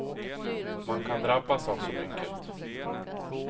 Man kan drabbas av så mycket.